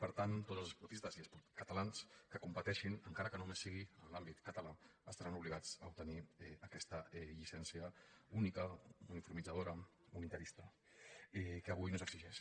per tant tots els esportistes catalans que competeixin encara que només sigui en l’àmbit català estaran obligats a obtenir aquesta llicència única uniformitzadora uni·tarista que avui no s’exigeix